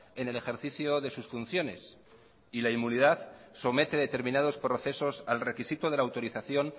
en el ejercicio de sus funciones y la inmunidad somete determinados procesos al requisito de la autorización